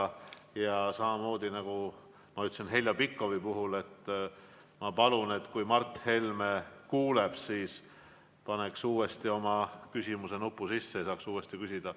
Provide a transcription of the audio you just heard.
Ma palun samamoodi, nagu ütlesin Heljo Pikhofile, et kui Mart Helme kuuleb, siis ta vajutaks oma küsimusenupu uuesti sisse ja saaks uuesti küsida.